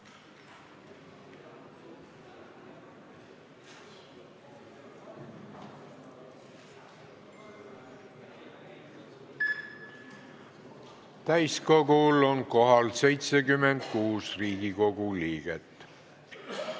Kohaloleku kontroll Täiskogul on kohal 76 Riigikogu liiget.